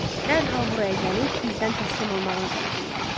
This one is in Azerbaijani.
Dərhal buraya gəlib, bizdən təslim olmağını tələb eləyərlər.